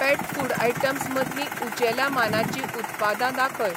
पेट food items मदलीं उंचेल्या मानाचीं उत्पादां दाखय.